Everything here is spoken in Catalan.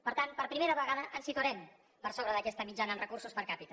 per tant per primera vegada ens situarem per sobre d’aquesta mitjana en recursos per capita